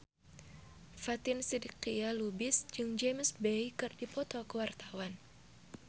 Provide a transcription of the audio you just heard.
Fatin Shidqia Lubis jeung James Bay keur dipoto ku wartawan